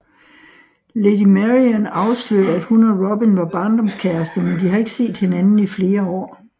Lady Marian afslører at hun og Robin var barndomskærester men de har ikke set hinanden i flere år